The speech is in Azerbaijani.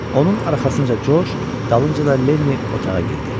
Onun arxasınca Corc, dalınca da Lenni otağa girdi.